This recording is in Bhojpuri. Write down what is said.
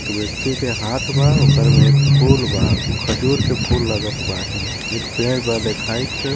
एक व्यक्ति के हाथ बा ओकर में एक फूल बा उ खजूर के फूल लागत बाहिन एक पेड़ बा देखाइत.